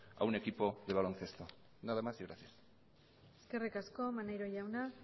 a un equipo de baloncesto nada más y gracias eskerrik asko maneiro jauna